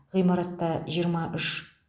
ғимартта жиырма үш